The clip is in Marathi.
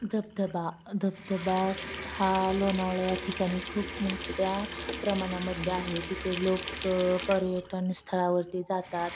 धबधबा धबधबा हा लोणावळ्या ठिकाणी खूप मोठ्या प्रमाणामध्ये आहे तिथे लोक पर्यटन स्थळावरती जातात.